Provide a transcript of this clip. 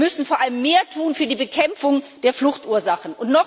Wir müssen vor allem mehr tun für die Bekämpfung der Fluchtursachen.